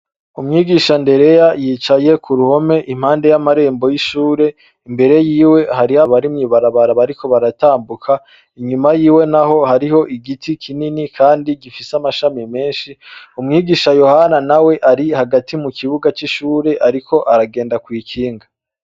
Umwigisha ndereya yicaye kuruhome impande yamarembo yishure imbere yiwe hari abari mwibarabara bariko baratambuka inyuma yiwe naho hariho igiti kinini kandi gifise amashami menshi umwigisha yohana nawe ari hagati mukibuga cishure ariko aragenda kwikinga